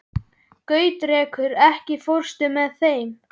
Gautrekur, ekki fórstu með þeim?